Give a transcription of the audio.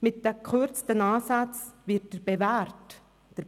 Mit den gekürzten Ansätzen wird der